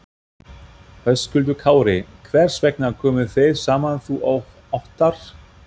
Höskuldur Kári: Hvers vegna komuð þið saman þú og Óttarr?